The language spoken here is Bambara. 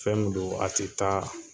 Fɛn min do a tɛ taa